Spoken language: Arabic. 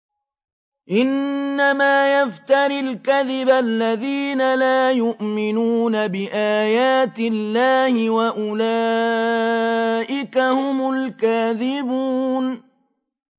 إِنَّمَا يَفْتَرِي الْكَذِبَ الَّذِينَ لَا يُؤْمِنُونَ بِآيَاتِ اللَّهِ ۖ وَأُولَٰئِكَ هُمُ الْكَاذِبُونَ